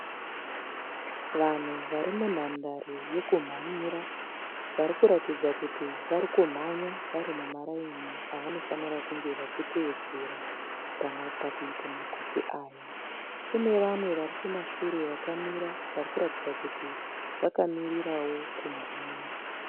Vanhu vari munhandare yekumhanyira. Vari kuratidza kuti vari kumhanya vari mumaraini avanofanira kunge vachiteedzera pakuita makwikwi aya. Kune vamwe vari kumashure vakamira vari kuratidza kuti vakamirirawo kumhanya.